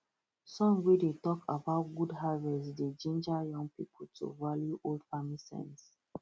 song wey dey talk about good harvest dey ginger young people to value old farming sense